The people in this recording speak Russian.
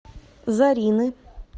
зарины